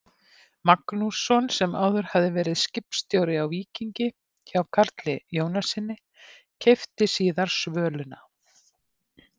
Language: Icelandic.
Magnússon, sem áður hafði verið skipstjóri á Víkingi hjá Karli Jónassyni, keypti síðar Svöluna.